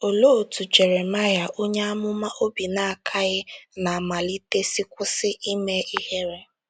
Olee otú Jeremaya onye amụma obi na - akaghị ná mmalite si kwụsị ime ihere?